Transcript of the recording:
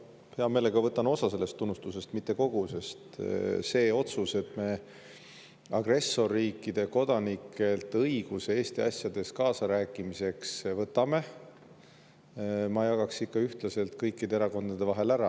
Ma hea meelega võtan endale osa sellest tunnustusest, mitte kogu, sest selle otsuse, et me agressorriikide kodanikelt õiguse Eesti asjades kaasa rääkida ära võtame, ma jagaks ikka ühtlaselt kõikide erakondade vahel ära.